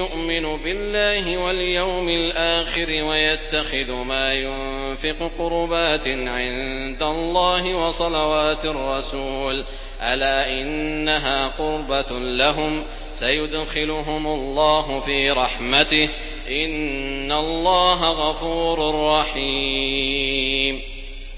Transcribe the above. يُؤْمِنُ بِاللَّهِ وَالْيَوْمِ الْآخِرِ وَيَتَّخِذُ مَا يُنفِقُ قُرُبَاتٍ عِندَ اللَّهِ وَصَلَوَاتِ الرَّسُولِ ۚ أَلَا إِنَّهَا قُرْبَةٌ لَّهُمْ ۚ سَيُدْخِلُهُمُ اللَّهُ فِي رَحْمَتِهِ ۗ إِنَّ اللَّهَ غَفُورٌ رَّحِيمٌ